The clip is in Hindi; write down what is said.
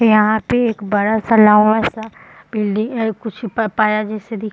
यहाँ पे एक बड़ा-सा लम्बा-सा बिल्डिंग ऐ कुछ प पाया जैसे दिख --